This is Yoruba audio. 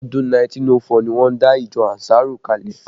Ọdún 1904 ni wọ́n dá ìjọ ànsárù kalẹ